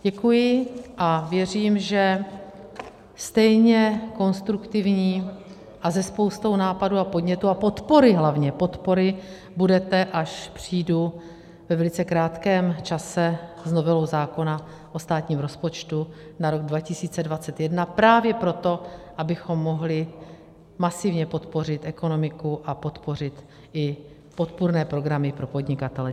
Děkuji a věřím, že stejně konstruktivní a se spoustou nápadů a podnětů a podpory, hlavně podpory, budete, až přijdu ve velice krátkém čase s novelou zákona o státním rozpočtu na rok 2021, právě proto, abychom mohli masivně podpořit ekonomiku a podpořit i podpůrné programy pro podnikatele.